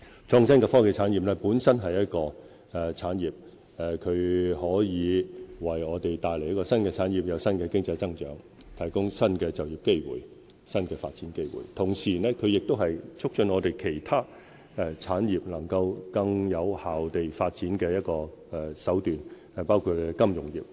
創新及科技本身是一個產業，它可以為我們帶來新的產業，有新的經濟增長，提供新的就業機會、新的發展機會。創新及科技亦是促進本港其他產業更有效發展的一個手段。